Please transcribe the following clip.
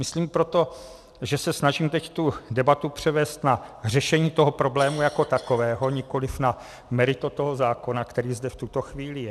Myslím proto, že se snažím teď tu debatu převést na řešení toho problému jako takového, nikoliv na meritum toho zákona, který zde v tuto chvíli je.